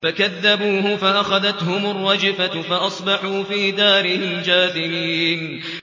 فَكَذَّبُوهُ فَأَخَذَتْهُمُ الرَّجْفَةُ فَأَصْبَحُوا فِي دَارِهِمْ جَاثِمِينَ